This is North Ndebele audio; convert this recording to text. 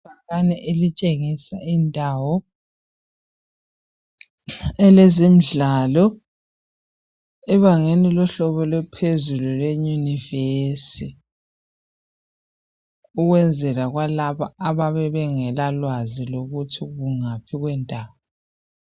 Ibhakane elitshengisa indawo elezendlalo ebangeni lohlobo lwaphezulu lweyunivesi ukwenzela kwalabo ababe bengela lwazi lokuthi kungaphi kwendawo